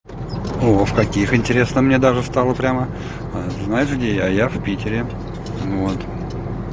о в каких интересно мне даже стало прямо а знаешь где я я в питере вот